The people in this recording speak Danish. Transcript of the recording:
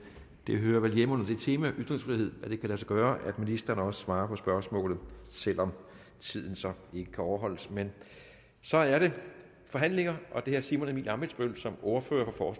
det hører vel hjemme under det tema ytringsfrihed at det kan lade sig gøre at ministeren også svarer på spørgsmålet selv om tiden så ikke kan overholdes men så er det forhandlinger og det er herre simon emil ammitzbøll som ordfører for